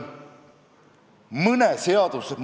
Kui oleks tahetud aidata, siis see võimalus ju anti.